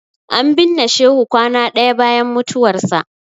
An binne Shehu kwana ɗaya bayan mutuwarsa.